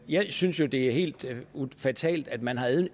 jeg synes jo det er helt fatalt at man har